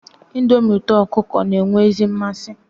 Ndomi uto okuko n'enwe ezi nmasi